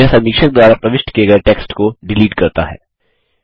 यह समीक्षक द्वारा प्रविष्ट किये गये टेक्स्ट को डिलीट करता है